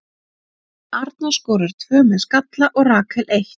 Arna skorar tvö með skalla og Rakel eitt.